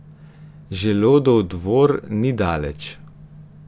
Želodov dvor ni daleč.